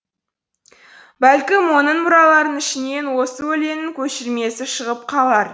бәлкім оның мұраларының ішінен осы өлеңнің көшірмесі шығып қалар